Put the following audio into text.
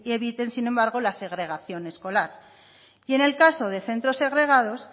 evitan sin embargo la segregación escolar y en el caso de centros segregados